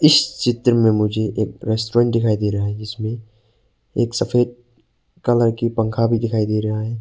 इस चित्र में मुझे एक रेस्टोरेंट दिखाई दे रहा है जिसमें एक सफेद कलर की पंखा भी दिखाई दे रहा है।